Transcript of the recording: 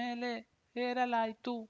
ಮೇಲೆ ಹೇರಲಾಯ್ತು